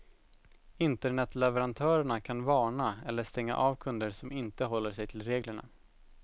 Internetleverantörerna kan varna eller stänga av kunder som inte håller sig till reglerna.